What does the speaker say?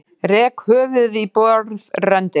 Rek höfuðið í borðröndina.